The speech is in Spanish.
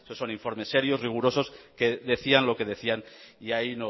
son informes serios rigurosos que decían lo que decían y ahí